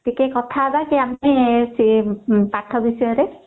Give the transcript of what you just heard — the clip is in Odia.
ଟିକେ କଥା ହବା କି ଆମେ ସେଇ ପାଠ ବିଷୟରେ